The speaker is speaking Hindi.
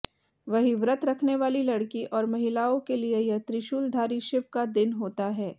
वहीं व्रत रखनेवाली लड़की और महिलाओं के लिये यह त्रिशूलधारी शिव का दिन होता है